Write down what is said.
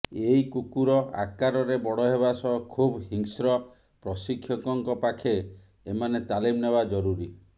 ଏଇ କୁକୁର ଆକାରରେ ବଡ଼ ହେବା ସହ ଖୁବ୍ ହିଂସ୍ର ପ୍ରଶିକ୍ଷକଙ୍କ ପାଖେ ଏମାନେ ତାଲିମ ନେବା ଜରୁରୀ